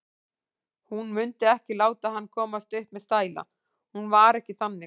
Hún mundi ekki láta hann komast upp með stæla, hún var ekki þannig.